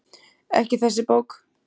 Ekki þessi bók.